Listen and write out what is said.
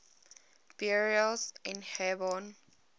burials in hebron